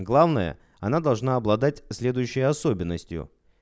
главное она должна обладать следующей особенностью